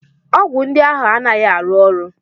Ọgwụ ndị ahụ anaghị arụ ọrụ?